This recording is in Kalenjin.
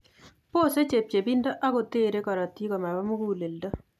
Bose chepchepindab akoter korotik komaba muguleldo